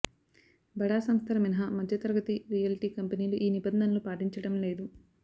బడా సంస్థలు మినహా మధ్యతరగతి రియల్టీ కంపెనీలు ఈ నిబంధనలు పాటించడంలేదు